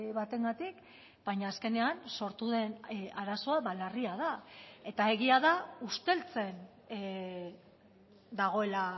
batengatik baina azkenean sortu den arazoa larria da eta egia da usteltzen dagoela